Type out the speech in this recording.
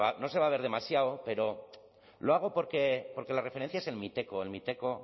no se va a ver demasiado pero lo hago porque las referencia es el miteco el miteco